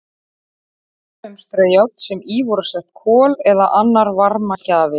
Dæmi um straujárn sem í voru sett kol eða annar varmagjafi.